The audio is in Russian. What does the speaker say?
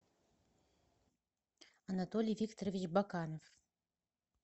анатолий викторович баканов